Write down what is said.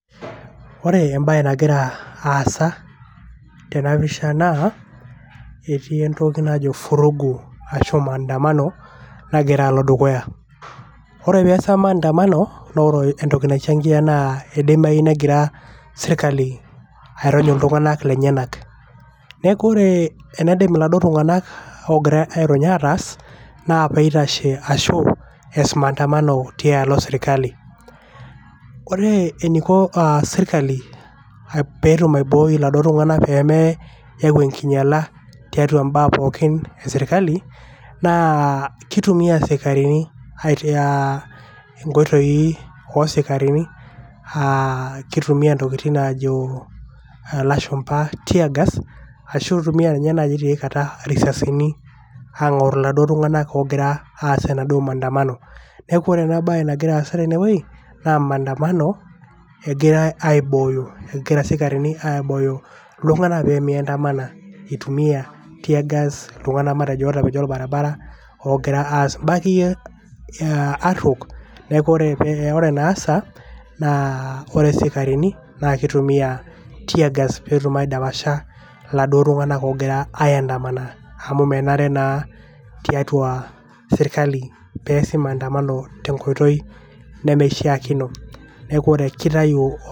ore embae nagira tena pisha naa etiii entoki najo furugu ashu maandamano nagira alo dukuya ..ore peasa maandamano naa ore entoki naichangia naa idimayu negira sirkali airony illtunganak lenyenak .niaku ore endaidim iladuoo tunganak ogira airony ataas naa peitashe ashu eas maandamano tialo sirkali .ore eniko a sirkali petum aibooi iladuo tunganak peme yau enkinyiala tiatua mbaa pookin esirkali naa kitumia isikarini aitaa nkoitoi osikarini a kitumia intokitin najo lasumba teargas ashu eitumia tiay kata irisasin angor iladuoo tunganak ogira aas enaduoo maandamano .niaku ore ena bae nagira aasa tene wuei naa maandamano eigirae aibooyo .egira isikarini aibooyo iltunganak pemeandamana itumia tear gas iltunganak matejo otapejo orbaribara ogira aas mbaa akeyie aruok